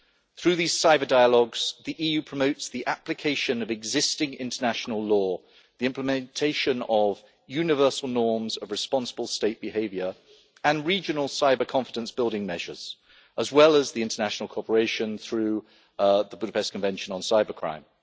Through these cyber dialogues, the EU promotes the application of existing international law, the implementation of universal norms of responsible state behaviour, and regional cyber confidence building measures, as well as the international cooperation through the Budapest Convention on Cybercrime.